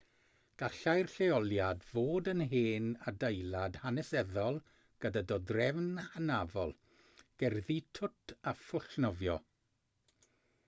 gallai'r lleoliad fod yn hen adeilad hanesyddol gyda dodrefn hynafol gerddi twt a phwll nofio